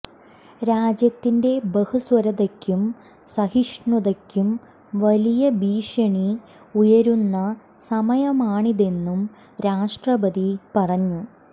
രാജ്യത്തിന്റെ ബഹുസ്വരതയ്ക്കും സഹിഷ്ണുതയ്ക്കും വലിയ ഭീഷണി ഉയരുന്ന സമയമാണിതെന്നു രാഷ്ട്രപതി പറഞ്ഞു